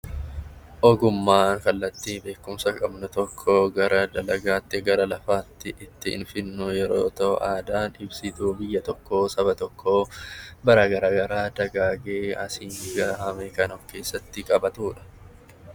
Ogummaan kallattii beekumsa qabnu tokko karaa ittiin gara lafaatti fidnu yoo ta'u, aadaan saba tokkoo dagaagee aadaawwan garaagaraa kan of keessatti qabatudha.